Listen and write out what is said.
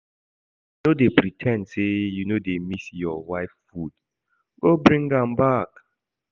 No dey pre ten d say you no dey miss your wife food, go bring am back